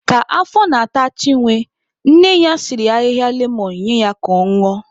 Ka afọ na-ata Chinwe, nne ya siri ahịhịa lemon nye ya ka ọ ñụọ.